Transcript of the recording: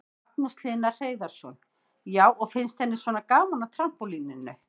Magnús Hlynur Hreiðarsson: Já, og finnst henni svona gaman á trampólíninu?